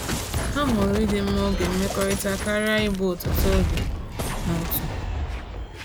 Ha hụrụ ịdị mma oge mmekọrịta karịa ịbụ ọtụtụ oge n’otu.